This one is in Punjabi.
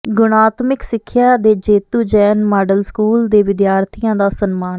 ਗੁਣਾਤਮਿਕ ਸਿੱਖਿਆ ਦੇ ਜੇਤੂ ਜੈਨ ਮਾਡਲ ਸਕੂਲ ਦੇ ਵਿਦਿਆਰਥੀਆਂ ਦਾ ਸਨਮਾਨ